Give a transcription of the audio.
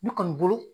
Ne kɔni bolo